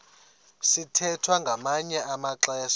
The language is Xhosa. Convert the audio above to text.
sithwethwa ngamanye amaxesha